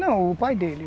Não, o pai dele.